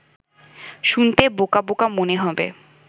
শুনতে বোকা বোকা মনে হবে